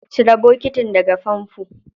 Cire bokitin daga famfo.